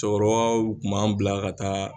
Cɛkɔrɔba tun b'an bila ka taa